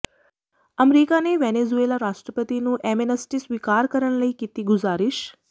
America ਨੇ Venezuela ਰਾਸ਼ਟਰਪਤੀ ਨੂੰ ਐਮੇਨਸਟੀ ਸਵੀਕਾਰ ਕਰਨ ਦੀ ਕੀਤੀ ਗੁਜ਼ਾਰਿਸ਼